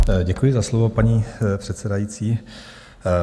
Děkuji za slovo, paní předsedající.